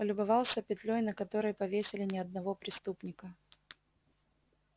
полюбовался петлёй на которой повесили не одного преступника